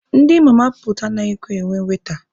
Ndị mama puutu anaghịkwa enwe waita,